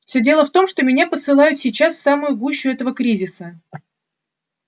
всё дело в том что меня посылают сейчас в самую гущу этого кризиса